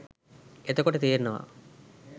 එතකොට තේරෙනවා